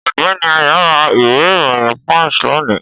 Ọ̀gbẹ́ni AYO ra ìwé ìròyìn punch lónìí